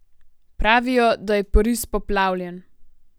Pravijo, da je Pariz poplavljen.